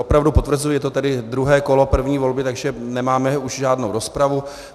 Opravdu potvrzuji, je to tedy druhé kolo první volby, takže nemáme už žádnou rozpravu.